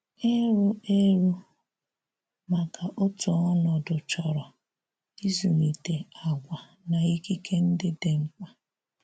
Irù erù maka òtù̀ ònọdụ̀ chọrọ ịzụlitè àgwà na ikikè ndị̀ dị̀ mkpa.